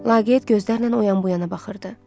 Laqeyd gözlərlə o yan bu yana baxırdı.